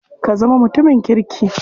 Ka zama mutumin kirki.